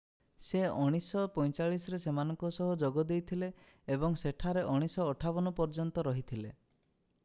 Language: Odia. ସେ 1945ରେ ସେମାନଙ୍କ ସହ ଯୋଗ ଦେଇଥିଲେ ଏବଂ ସେଠାରେ 1958 ପର୍ଯ୍ୟନ୍ତ ରହିଥିଲେ